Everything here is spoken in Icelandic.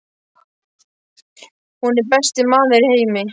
Hann er besti maður í heimi.